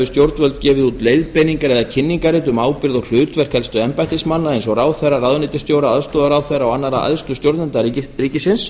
stjórnvöld víða erlendis gefið út leiðbeiningar eða kynningarrit um ábyrgð og hlutverk helstu embættismanna eins og ráðherra ráðuneytisstjóra aðstoðarráðherra og annarra æðstu stjórnenda ríkisins